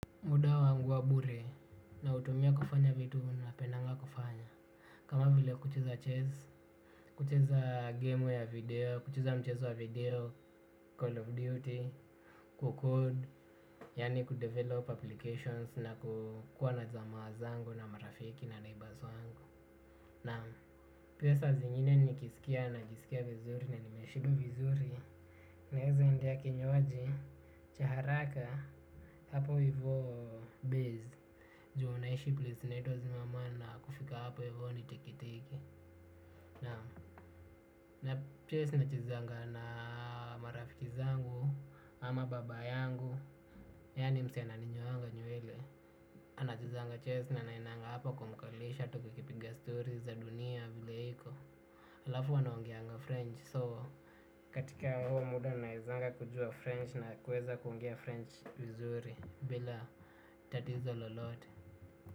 Mudawa anguwa bure na utumia kufanya vitu na pendaga kufanya. Kama vile kucheza chess, kucheza gameware video, kucheza mchezo wa video, call of duty, kukode, yani kudevelop applications na kukua na zamawazango na marafiki na naibazo wangu. Naam. Pia sa zingine nikisikia na najisikia vizuri na nimeshiba vizuri. Naweza endia kinywaji, cha haraka, hapo hivo beze. Juu naishi plesnato zimamana kufika hapa voni tiki tiki. Na piesi na chezanga na marafiki zangu ama baba yangu. Yani mzee ana ninyoanga nywele. Anachezanga ches na na inanga hapo kumkalisha tu kikipiga stories za dunia vile hiko. Alafu huwa ana ongeanga french so katika huo muda naizanga kujua french na kuweza kuongea french vizuri bila tatizo lolote.